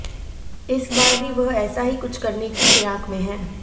इस बार भी वह ऐसा ही कुछ करने की फिराक में है